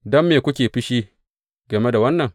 Don me kuke fushi game da wannan?